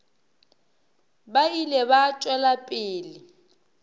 ba ile ba tšwela pele